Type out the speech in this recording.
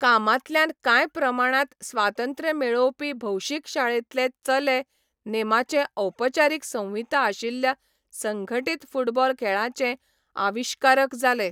कामांतल्यान कांय प्रमाणांत स्वातंत्र्य मेळोवपी भौशीक शाळेंतले चले नेमाचे औपचारीक संहिता आशिल्ल्या संघटीत फुटबॉल खेळांचे आविश्कारक जाले.